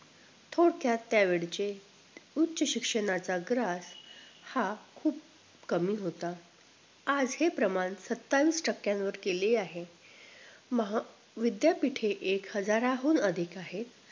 थोडक्यात त्या वेळचे उच्च शिक्षणाचा grass हा खूप कमी होता आज हे प्रमाण सत्तावीस टक्यांवर केले आहे महा विद्यापीठे एक हजाराहून अधिक आहेत